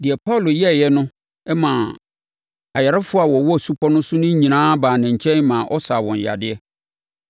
Deɛ Paulo yɛeɛ no maa ayarefoɔ a wɔwɔ supɔ no so no nyinaa baa ne nkyɛn maa ɔsaa wɔn yadeɛ.